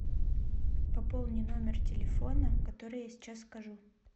пополни номер телефона который я сейчас скажу